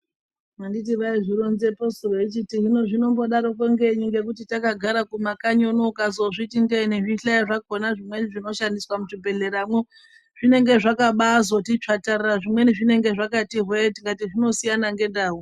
Anditi vaizvironzeposu veichiti hino zvinombodaroko ngenyi ngekuti takagara kumakanyi uno ukazozviti ndee nezvihleyo zvakona zvimweni zvinoshandiswa muzvibhehleramwo zvinenge zvakabazoti tsvatarara zvimweni zvinenge zvakati hwee tikati zvinosiyana ngendau.